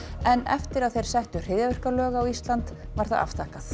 en eftir að þeir settu hryðjuverkalög á Ísland var það afþakkað